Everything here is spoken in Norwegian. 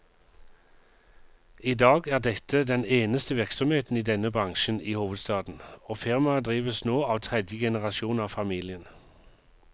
I dag er dette den eneste virksomheten i denne bransjen i hovedstaden, og firmaet drives nå av tredje generasjon av familien.